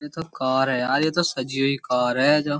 यह तो कार है यार यह तो सजी हुई कार है जो --